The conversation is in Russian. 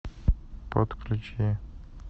подключи